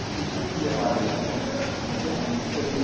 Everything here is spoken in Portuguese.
Porque se eu fosse levar adiante, ia virar uma confusão feia.